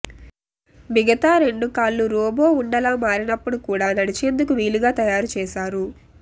మిగతా రెండు కాళ్లు రోబో ఉండలా మారినప్పుడు కూడా నడిచేందుకు వీలుగా తయారు చేశారు